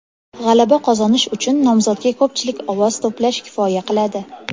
G‘alaba qozonish uchun nomzodga ko‘pchilik ovoz to‘plash kifoya qiladi.